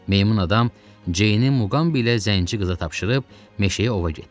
Meymun adam Ceyni, Muqamı bilə zənci qıza tapşırıb meşəyə ova getdi.